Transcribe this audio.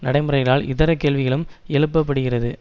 நடைமுறைகளால் இதர கேள்விகளும் எழுப்பப்படுகிறது